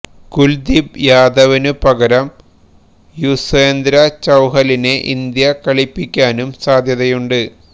കുല്ദീപ് യാദവിനു പകരം യുസ്വേന്ദ്ര ചഹലിനെ ഇന്ത്യ കളിപ്പിക്കാനും സാധ്യതയുണ്ട്